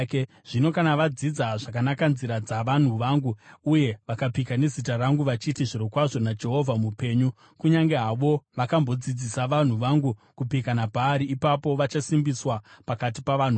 Zvino kana vadzidza zvakanaka nzira dzavanhu vangu uye vakapika nezita rangu, vachiti, ‘Zvirokwazvo naJehovha mupenyu,’ kunyange havo vakambodzidzisa vanhu vangu kupika naBhaari, ipapo vachasimbiswa pakati pavanhu vangu.